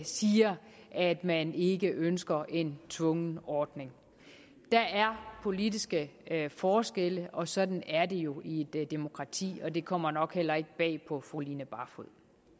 siger at man ikke ønsker en tvungen ordning der er politiske forskelle og sådan er det jo i et demokrati og det kommer nok heller ikke bag på fru line barfod